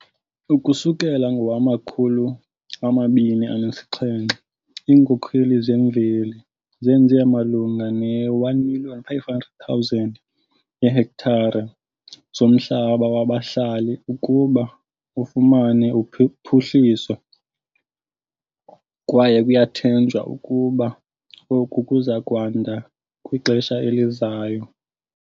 Ukusukela ngowama-2018, iinkokheli zemveli zenze malunga ne-1 500 000 yeehektare zomhlaba wabahlali ukuba ufumane uphuhliso, kwaye kuyathenjwa ukuba oku kuza kwanda kwixesha elizayo.